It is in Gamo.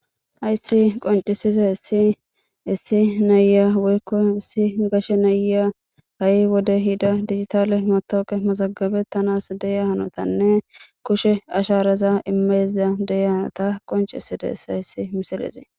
Ayssi qoncisiza essi issi naya woykko issi gashe nayya ha'i wode hida digitale motooqe mazagabettanas deya hanotanne kushe asharaza imeyzida deya hanota qoncisida es hayssi misilezee